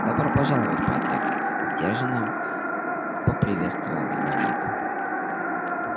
добро пожаловать патрик сдержанно поприветствовал его ник